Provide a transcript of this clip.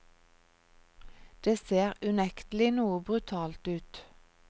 Det ser unektelig noe brutalt ut.